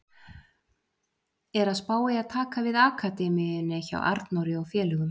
Er að spá í að taka við akademíunni hjá Arnóri og félögum.